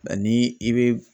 Ani i be